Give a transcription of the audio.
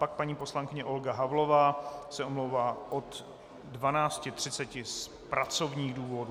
Pak paní poslankyně Olga Havlová se omlouvá od 12.30 z pracovních důvodů.